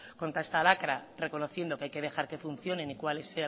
contra esta lacra reconociendo que hay que dejar que funcionen y cuáles